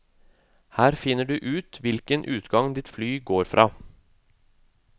Her finner du ut hvilken utgang ditt fly går fra.